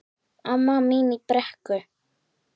Amma mín í Brekku.